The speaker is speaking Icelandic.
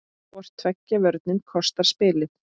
Hvor tveggja vörnin kostar spilið.